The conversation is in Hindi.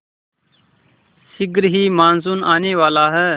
शीघ्र ही मानसून आने वाला है